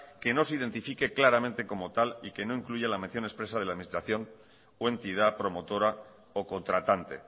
que no se identifique claramente como tal y que no incluya la mención expresa de la administración o entidad promotora o contratante